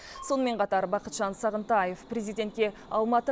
сонымен қатар бақытжан сағынтаев президентке алматы